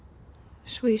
svo ég